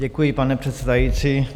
Děkuji, pane předsedající.